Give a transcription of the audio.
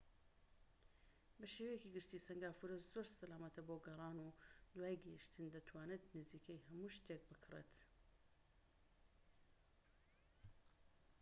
بە شێوەیەکی گشتى سەنگافورە زۆر سەلامەتە بۆ گەڕان، و دوای گەیشتن دەتوانیت نزیکەی هەموو شتێک بکڕیت‎